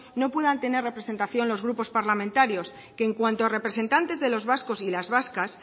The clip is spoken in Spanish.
no puedan tener representación los grupos parlamentarios que en cuanto a representantes de los vascos y las vascas